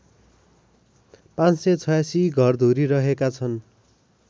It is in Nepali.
५८६ घरधुरी रहेका छन्